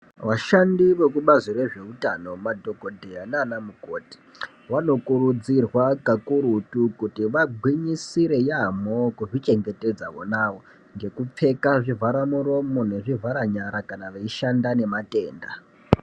Vashandi vekubazi rezveutano , madhokodheya naanamukoti , vanokurudzirwa kakurutu kuti vagwinyisire yaampho kuzvichengetedza vonavo ngekupfeka zvivharamuromo nezvivharanyara kana veishanda nematenda.